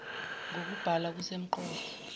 ng okubhalwa kusemqoka